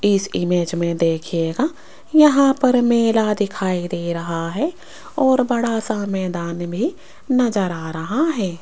इस इमेज में देखिएगा यहां पर मेला दिखाई दे रहा है और बड़ा सा मैदान भी नजर आ रहा है।